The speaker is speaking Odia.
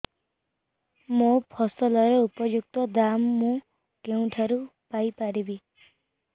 ମୋ ଫସଲର ଉପଯୁକ୍ତ ଦାମ୍ ମୁଁ କେଉଁଠାରୁ ପାଇ ପାରିବି